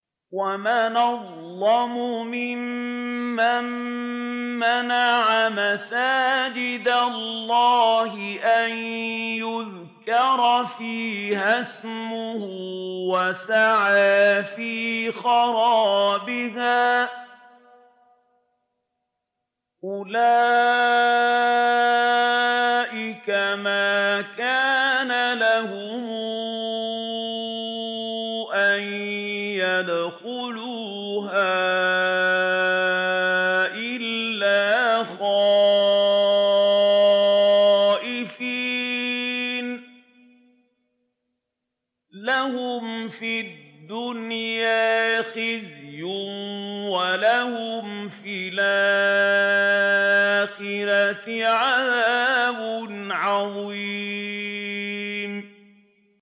وَمَنْ أَظْلَمُ مِمَّن مَّنَعَ مَسَاجِدَ اللَّهِ أَن يُذْكَرَ فِيهَا اسْمُهُ وَسَعَىٰ فِي خَرَابِهَا ۚ أُولَٰئِكَ مَا كَانَ لَهُمْ أَن يَدْخُلُوهَا إِلَّا خَائِفِينَ ۚ لَهُمْ فِي الدُّنْيَا خِزْيٌ وَلَهُمْ فِي الْآخِرَةِ عَذَابٌ عَظِيمٌ